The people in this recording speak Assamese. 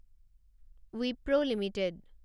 ৱিপ্ৰো লিমিটেড